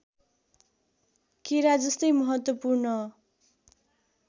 केरा जस्तै महत्त्वपूर्ण